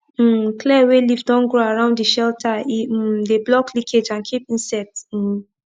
um clear wey leaf don grow around de shelter e um de block leakage and keep insects um